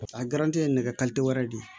Paseke a garanti ye nɛgɛ wɛrɛ de ye